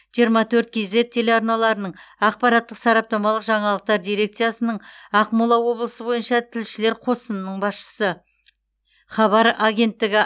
жиырма төрт кз телеарналарының ақпараттық сараптамалық жаңалықтар дирекциясының ақмола облысы бойынша тілшілер қосынының басшысы хабар агенттігі